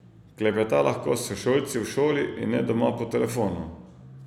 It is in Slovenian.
Klepeta lahko s sošolci v šoli in ne doma po telefonu.